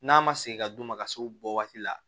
N'a ma segin ka d'u ma ka se o bɔ waati la